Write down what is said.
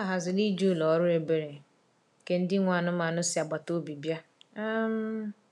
Ha haziri ije ụlọ ọrụ ebere nke ndị nwe anụmanụ si agbata obi bịa. um